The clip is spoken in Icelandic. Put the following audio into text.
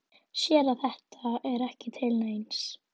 Sér að þetta er ekki til neins.